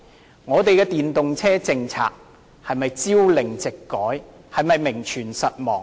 究竟我們的電動車政策是否朝令夕改，是否名存實亡呢？